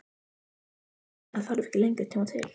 Það þarf ekki lengri tíma til?